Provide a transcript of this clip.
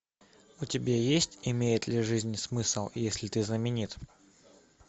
у тебя есть имеет ли жизнь смысл если ты знаменит